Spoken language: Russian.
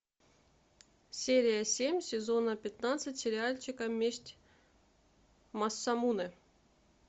серия семь сезона пятнадцать сериальчика месть масамуне